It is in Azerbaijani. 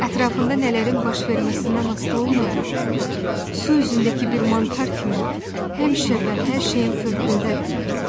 Ətrafında nələrin baş verməsindən asılı olmayaraq, su üzündəki bir mantar kimi həmişə və hər şeyin fövqündədir.